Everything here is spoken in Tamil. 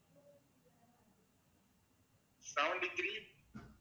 seventy three